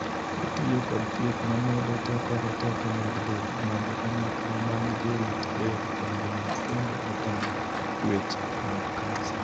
Otiyo kod thieth mamedo teko roteke mag del mondo kanyakla mag jorit del ong'ee kendo otam chuech mag kansa.